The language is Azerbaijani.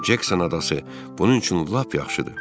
Cekson adası bunun üçün lap yaxşıdır.